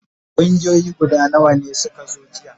Kungiyoyi guda nawa ne suka zo jiya?